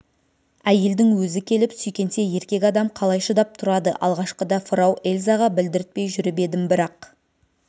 әйелдің өзі келіп сүйкенсе еркек адам қалай шыдап тұрады алғашқыда фрау эльзаға білдіртпей жүріп едім бірақ